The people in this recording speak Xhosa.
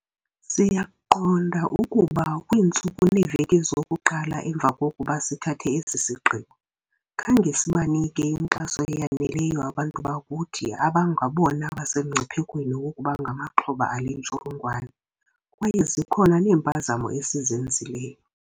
Siyaqonda ukuba kwiintsuku neeveki zokuqala emva kokuba sithathe esi sigqibo, khange sibanike inkxaso eyaneleyo abantu bakuthi abangabona basemngciphekweni wokuba ngamaxhoba ale ntsholongwane, kwaye zikhona neempazamo esizenzileyo.